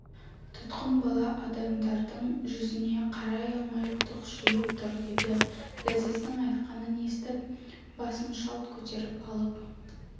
тұтқын бала адамдардың жүзіне қарай алмай тұқшиып тұр еді ләзиздің айтқанын естіп басын шалт көтеріп алып